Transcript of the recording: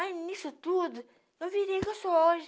Aí, nisso tudo, eu virei o que eu sou hoje.